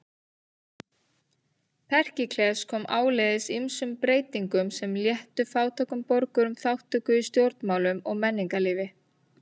Períkles kom áleiðis ýmsum breytingum sem léttu fátækum borgurum þátttöku í stjórnmálum og menningarlífi.